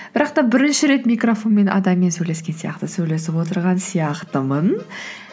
бірақ та бірінші рет микрофонмен адаммен сөйлескен сияқты сөйлесіп отырған сияқтымын